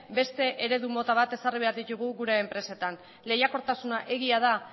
beste eredu mota bat ezarri behar ditugu gure enpresetan lehiakortasuna egia da